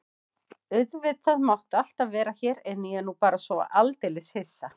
Auðvitað máttu alltaf vera hér en ég er nú bara svo aldeilis hissa.